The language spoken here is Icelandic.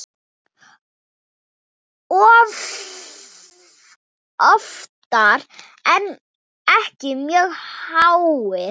Oftar en ekki mjög háir.